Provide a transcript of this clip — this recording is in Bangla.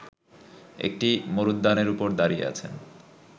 একটি মরূদ্যানের ওপর দাঁড়িয়ে আছেন